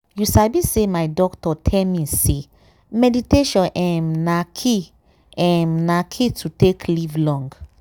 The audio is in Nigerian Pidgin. you sabi say my doctor tell me say meditation um na key um na key to take live long.